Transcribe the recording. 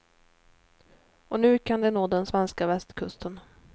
Och nu kan de nå den svenska västkusten.